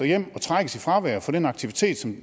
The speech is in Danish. hjem og trækkes i fravær for den aktivitet